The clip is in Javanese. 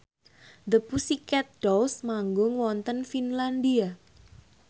The Pussycat Dolls manggung wonten Finlandia